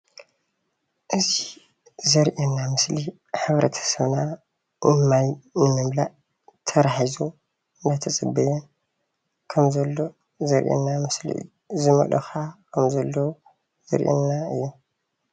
እዚ ዘርእየና ምስሊ ሕብረተሰብና ማይ ንምምላእ ተራ ሒዙ እናተፀበየ ከም ዘሎ ዘርእየና ምስሊ እዩ፡፡ ዝመልኡ ከዓ ከም ዘለዉ ዘርእየናን እዩ፡፡